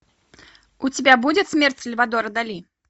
у тебя будет смерть сальвадора дали